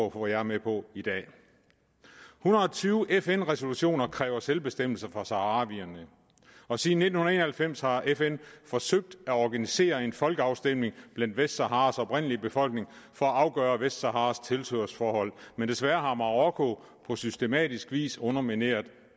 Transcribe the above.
at få jer med på i dag en hundrede og tyve fn resolutioner kræver selvbestemmelse for saharawierne og siden nitten en og halvfems har fn forsøgt at organisere en folkeafstemning blandt vestsaharas oprindelige befolkning for at afgøre vestsaharas tilhørsforhold men desværre har marokko på systematisk vis undermineret